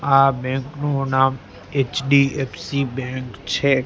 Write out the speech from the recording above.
આ બેંક નુ નામ એચ_ડી_એફ_સી બેંક છે.